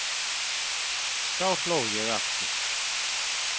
Þá hló ég aftur.